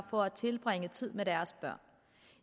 for at tilbringe tid med deres børn